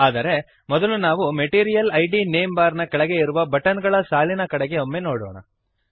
ಆದರೆ ಮೊದಲು ನಾವು ಮೆಟೀರಿಯಲ್ ಇದ್ ನೇಮ್ ಬಾರ್ ನ ಕೆಳಗೆ ಇರುವ ಬಟನ್ ಗಳ ಸಾಲಿನ ಕಡೆಗೆ ಒಮ್ಮೆ ನೋಡೋಣ